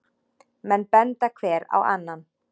Menn benda hver á annan.